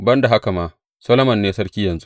Ban da haka ma, Solomon ne sarki yanzu.